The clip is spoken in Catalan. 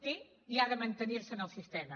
té i ha de mantenir se en el sistema